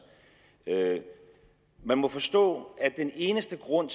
man må forstå at den eneste grund